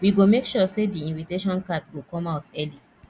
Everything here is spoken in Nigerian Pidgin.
we go make sure sey di invitation card go come out early